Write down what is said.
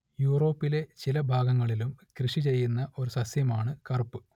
യൂറോപ്പിലെ ചില ഭാഗങ്ങളിലും കൃഷി ചെയ്യുന്ന ഒരു സസ്യമാണ് കറുപ്പ്